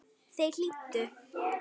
Þær hlýddu.